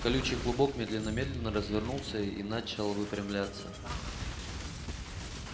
колючий клубок медленно медленно развернулся и начал выпрямляться